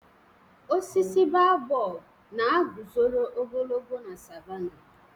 Osisi babọb na guzoro ogologo na savánàh.